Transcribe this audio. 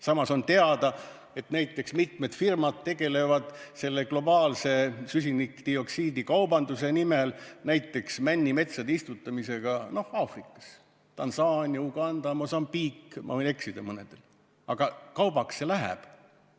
Samas on teada, et mitmed firmad tegelevad selle globaalse süsinikdioksiidi kaubanduse nimel näiteks männimetsade istutamisega Aafrikas – Tansaania, Uganda, Mosambiik, ma võin mõnega eksida, aga kaubaks see läheb.